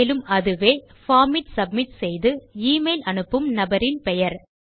மேலும் அதுவே பார்ம் ஐ சப்மிட் செய்து ஈமெய்ல் அனுப்பும் நபரின் பெயர்